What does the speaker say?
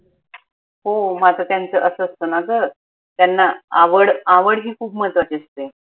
ओह मग आता त्यांच असं असतं ना ग त्यांना आवड आवड ही खूप महत्वाची असते